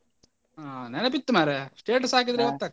ಹಾ ನೆನಪಿತ್ತು ಮರ್ರೆ status ಹಾಕಿದ್ರೆ .